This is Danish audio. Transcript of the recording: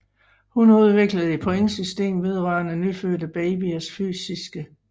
Hun udviklede et pointsystem vedrørende nyfødte babyers fysiske tilstand